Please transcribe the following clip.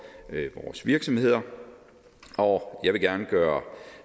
vores virksomheder og jeg vil gerne gøre